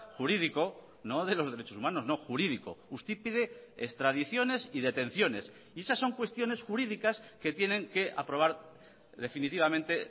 jurídico no de los derechos humanos no jurídico usted pide extradiciones y detenciones y esas son cuestiones jurídicas que tienen que aprobar definitivamente